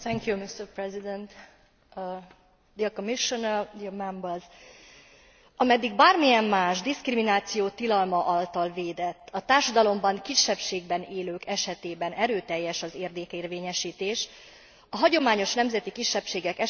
Ameddig bármilyen más, diszkrimináció tilalma által védett, a társadalomban kisebbségben élők esetében erőteljes az érdekérvényesítés, a hagyományos nemzeti kisebbségek esetében szégyenlős az európai jogvédelem, és még szégyenlősebb a politikai akarat.